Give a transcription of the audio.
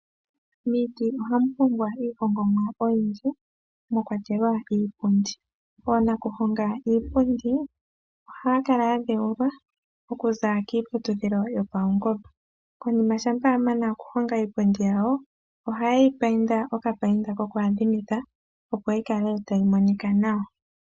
Miiti ohamu hongwa iihongomwa oyindji mwa kwatelwa iipundi. Oonakuhonga iipundi ohaya kala ya dheulwa okuza kiiputudhilo yo paungomba. Konima shampa a mana okuhonga iipundi yawo ohaye yi painda okapainda koku adhimitha opo yi kale tayi monika nawa.